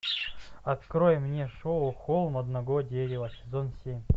открой мне шоу холм одного дерева сезон семь